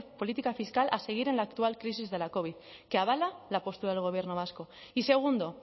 política fiscal a seguir en la actual crisis de la covid que avala la postura del gobierno vasco y segundo